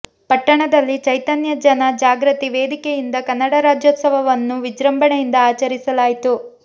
ಪಟ್ಟಣದಲ್ಲಿ ಚೈತನ್ಯ ಜನ ಜಾಗೃತಿ ವೇದಿಕೆಯಿಂದ ಕನ್ನಡ ರಾಜ್ಯೋತ್ಸವವನ್ನು ವಿಜೃಂಭಣೆಯಿಂದ ಆಚರಿಸಲಾಯಿತು